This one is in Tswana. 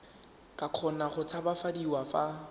ka kgona go tshabafadiwa fa